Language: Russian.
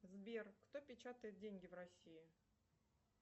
сбер кто печатает деньги в россии